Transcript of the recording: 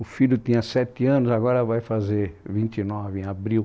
O filho tinha sete anos, agora vai fazer vinte e nove em abril.